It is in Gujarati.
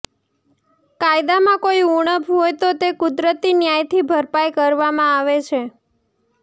કાયદામાં કોઈ ઊણપ હોય તો તે કુદરતી ન્યાયથી ભરપાઈ કરવામાં આવે છે